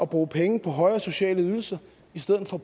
bruge penge på højere sociale ydelser i stedet for